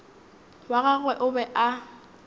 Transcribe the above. wa gagwe o be a